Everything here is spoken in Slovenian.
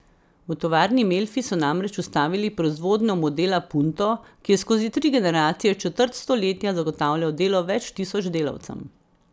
V tovarni Melfi so namreč ustavili proizvodnjo modela punto, ki je skozi tri generacije četrt stoletja zagotavljal delo več tisoč delavcem.